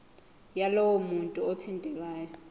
yalowo muntu othintekayo